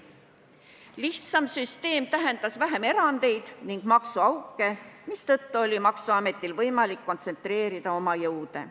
Lihtsam süsteem tähendas vähem erandeid ja maksuauke, mistõttu oli maksuametil võimalik kontsentreerida oma jõude.